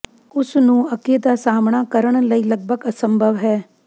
ਉਸ ਨੂੰ ਅੱਗੇ ਦਾ ਸਾਮ੍ਹਣਾ ਕਰਨ ਲਈ ਲਗਭਗ ਅਸੰਭਵ ਹੈ